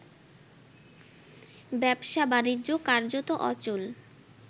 ব্যবসা-বাণিজ্য কার্যত অচল